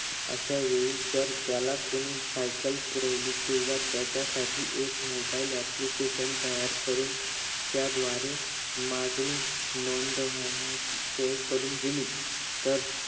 अश्यावेळी जर त्याला कुणी सायकल पुरवली किंवा त्याच्यासाठी एक mobile application तयार करून त्या द्वारे माहिती नोंदवण्याची सोय करून दिली तर